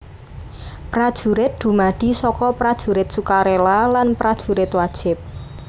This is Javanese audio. Prajurit dumadi saka Prajurit Sukarela lan Prajurit Wajib